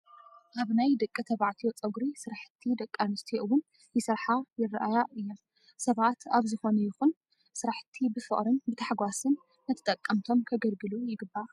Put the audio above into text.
ኣብ ናይ ደቂ ተባዕትዮ ፀጉሪ ስራሕቲ ደቂ ኣንስትዮ እውን ይሰርሓ ይረኣያ እየን። ሰባት ኣብ ዝኾነ ይኹን ስራሕቲ ብፍቅርን ብታሕጓስን ንተጠቀምቶም ከገልግሉ ይግባእ።